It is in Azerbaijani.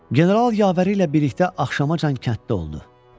General yavəri ilə birlikdə axşamacan kənddə oldu.